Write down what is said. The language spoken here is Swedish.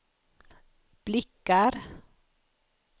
blickar